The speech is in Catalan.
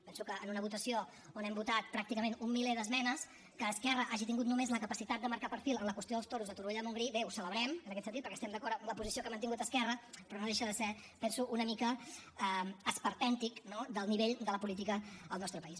penso que en una votació on hem votat pràcticament un miler d’esmenes que esquerra hagi tingut només la capacitat de marcar perfil en la qüestió dels toros de torroella de montgrí bé ho celebrem en aquest sentit perquè estem d’acord amb la posició que ha mantingut esquerra però no deixa de ser penso una mica esperpèntic no del nivell de la política al nostre país